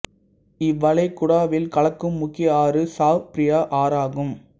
இவ்வளைகுடாவில் கலக்கும் முக்கிய ஆறு சாவ் பிராயா ஆறு ஆகும்